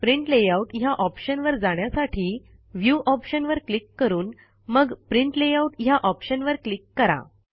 print layout ह्या ऑप्शनवर जाण्यासाठी व्ह्यू ऑप्शनवर क्लिक करून मग प्रिंट लेआउट ह्या ऑप्शनवर क्लिक करा